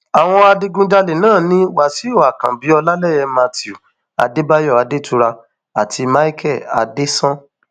àwọn adigunjalè náà ni wàsíù àkànbí ọlálẹyé matthew adébáyò adétura àti micheal adéṣán